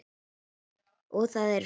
Og það eru fleiri.